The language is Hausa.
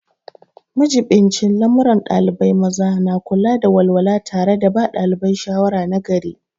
Majibincin lamuran ɗalibai maza na kula da walwala tare da ba ɗalibai shawara nagari.